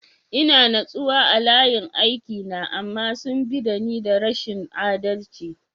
Ina natsuwa a layin aiki na, amma sun bi da ni da rashin adalci.